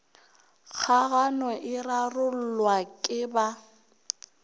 kgagano e rarollwa ke ba